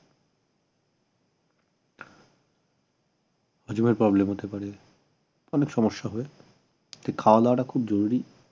হজমের problem হতে পারে অনেক সমস্যা হয় তাই খাওয়াদাওয়াটা খুব জরুরি